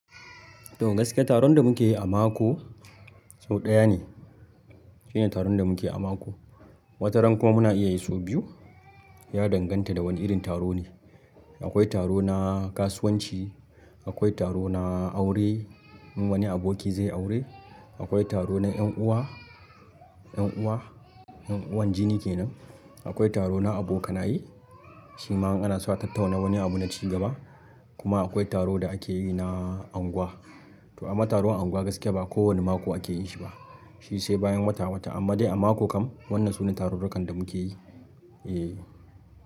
To gaskiya taron da muke yi a mako sau ɗaya ne. Shine taron da muke yi a mako. Wata rankuma muna iya yi sau biyu. Ya danganta da wani irin taro ne. Akwai taro na kasuwanci, akwai taro na aure in wani aboki zai yi aure, akwai taro na 'yan'uwa, 'yan'uwa, 'yan'uwan jini ke nan. Akwai taro na abokanaye, shi ma in ana so a tattauna wani abu na cigaba. Kuma akwai taro da ake yi na unguwa. To amma taron unguwa gaskiya ba kowani mako ake yin shi ba, shi sai bayan wata wata. Amma dai a mako kam wannan sune tarurrukan da muke yi, eh.